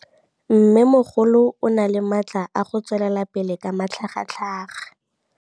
Mmêmogolo o na le matla a go tswelela pele ka matlhagatlhaga.